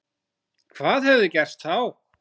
Hvað hefði gerst þá?